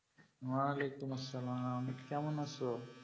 আলাইকুম আসসালাম কেমন আছো